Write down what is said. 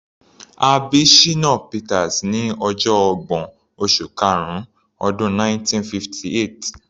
A bí Shina Peters ní ọjọ ọgbọ̀n, oṣù karun, ọdún 1958.